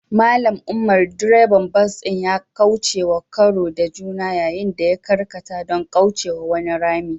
Mallam umar, direban bas ɗin ya kaucewa karo da juna yayin da ya karkata don kaucewa wani rami.